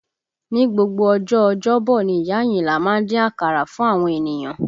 Ni gbogbo ọjọ́ ọjọ́bọ̀ ni ìyá Ayinla má ń dín akara fún àwọn ènìyàn